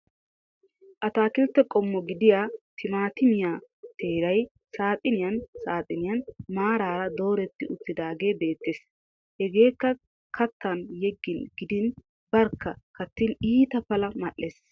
Atakiltte qommo gidiya timaatimiya teeray saaxiniyan saaxiniyan maaraara dooretti uttiidaagee beettes. Hageekka kattan yeggin gidin barkka kattin iita pala mal'es.